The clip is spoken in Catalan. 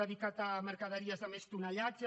dedicat a mercaderies de més tonatge